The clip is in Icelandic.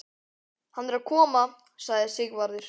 Hann er að koma, sagði Sigvarður.